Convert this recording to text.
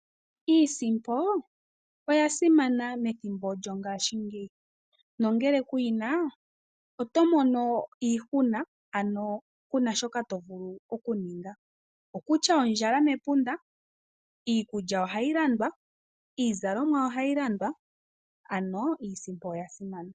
Iisimpo oya simana methimbo lyo ngaashingeyi, nongele ku yina oto mono iihuna, ano kuna shoka to vulu okuninga. Okutya ondjala mepunda, iikulya ohayi landwa, iizalomwa ohayi landwa, ano iisimpo oya simana.